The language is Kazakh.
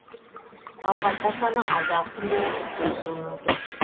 науқастар саны алдағы күндері тіпті өсуі мүмкін